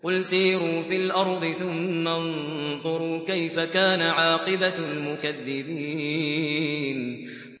قُلْ سِيرُوا فِي الْأَرْضِ ثُمَّ انظُرُوا كَيْفَ كَانَ عَاقِبَةُ الْمُكَذِّبِينَ